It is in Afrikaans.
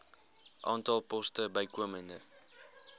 aantal poste bykomend